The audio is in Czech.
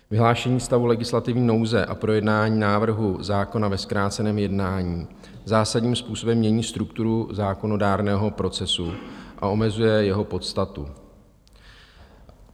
Vyhlášení stavu legislativní nouze a projednání návrhu zákona ve zkráceném jednání zásadním způsobem mění strukturu zákonodárného procesu a omezuje jeho podstatu.